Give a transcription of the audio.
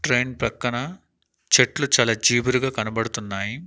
Train ప్రక్కన చెట్లు చాలా జీబురుగా కనబడుతున్నాయి.